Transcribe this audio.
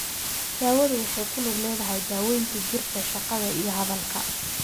Daawadu waxay ku lug leedahay daawaynta jidhka, shaqada, iyo hadalka.